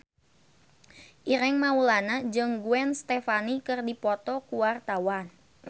Ireng Maulana jeung Gwen Stefani keur dipoto ku wartawan